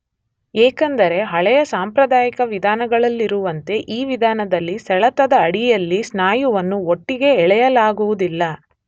ಏಕೆಂದರೆ ಹಳೆಯ ಸಾಂಪ್ರದಾಯಿಕ ವಿಧಾನಗಳಲ್ಲಿರುವಂತೆ ಈ ವಿಧಾನದಲ್ಲಿ ಸೆಳೆತದ ಅಡಿಯಲ್ಲಿ ಸ್ನಾಯುವನ್ನು ಒಟ್ಟಿಗೇ ಎಳೆಯಲಾಗುವುದಿಲ್ಲ.